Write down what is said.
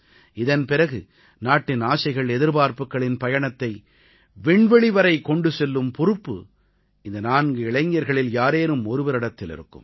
இதன் பிறகு நாட்டின் ஆசைகள் எதிர்பார்ப்புக்களின் பயணத்தை விண்வெளிவரை கொண்டு செல்லும் பொறுப்பு இந்த நான்கு இளைஞர்களில் யாரேனும் ஒருவரிடத்தில் இருக்கும்